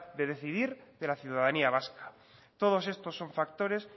de decidir de la ciudadanía vasca todos estos son factores